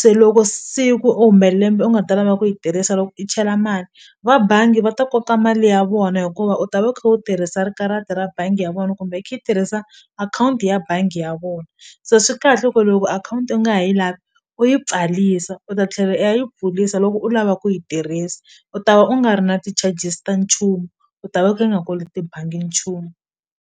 se loko siku u hume lembe u nga ta lava ku yi tirhisa loko i chela mali va bangi va ta koka mali ya vona hikuva u ta va u kha u tirhisa ri karata ra bangi ya vona kumbe tirhisa akhawunti ya bangi ya vona so swi kahle ku loko akhawunti u nga ha yi lavi u yi pfalisa u ta tlhela u ya yi pfulisa loko u lava ku yi tirhisa u ta va u nga ri na ti-charges ta nchumu u ta va u nga koloti bangi nchumu.